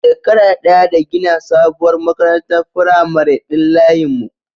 Shekara ɗaya da gina sabuwar makarantar firamare din layin mu